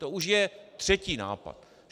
To už je třetí nápad.